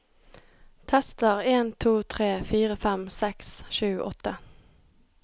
Tester en to tre fire fem seks sju åtte